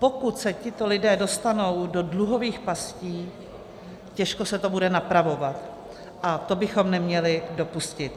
Pokud se tito lidé dostanou do dluhových pastí, těžko se to bude napravovat a to bychom neměli dopustit.